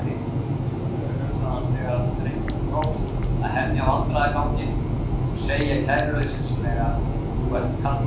Duglegur, hugsaði hann þegar drengnum tókst að hemja vandræðaganginn og segja kæruleysislega: Þú ert kallaður